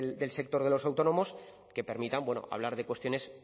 del sector de los autónomos que permitan hablar de cuestiones